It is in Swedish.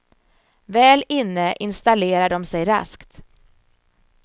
Väl inne instalerar de sig raskt.